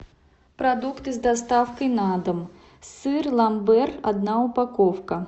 продукты с доставкой на дом сыр ламбер одна упаковка